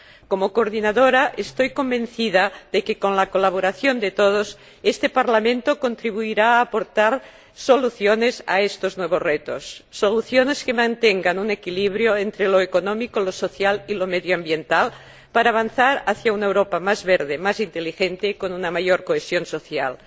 Como coordinadora, estoy convencida de que, con la colaboración de todos, este Parlamento contribuirá a aportar soluciones a estos nuevos retos soluciones que mantengan un equilibrio entre lo económico, lo social y lo medioambiental para avanzar hacia una Europa más verde, más inteligente y con una mayor cohesión social. Es